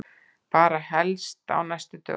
Bara helst á næstu dögum.